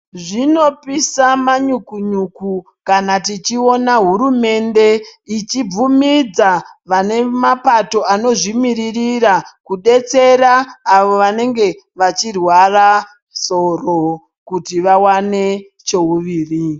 Zvinopisa manyukunyuku kana tichiona hurumende ichibvumidza vane mapato anozvimiririra kudetsera avo vanenge vachirwara soro kuti vawane cheuviri.